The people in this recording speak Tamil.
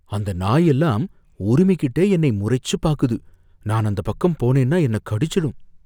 அந்த நாயெல்லாம் உருமிகிட்டே என்னை முறைச்சு பாக்குது. நான் அந்த பக்கம் போனேன்னா என்ன கடிச்சிடும்.